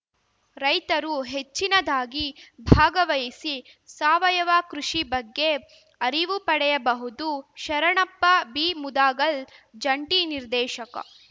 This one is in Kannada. ರೈತರು ಹೆಚ್ಚಿನದಾಗಿ ಭಾಗವಹಿಸಿ ಸಾವಯವ ಕೃಷಿ ಬಗ್ಗೆ ಅರಿವು ಪಡೆಯಬಹುದು ಶರಣಪ್ಪ ಬಿಮುದಗಲ್‌ ಜಂಟಿ ನಿರ್ದೇಶಕ